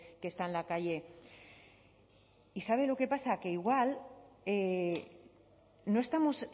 que está en la calle y sabe lo que pasa que igual no estamos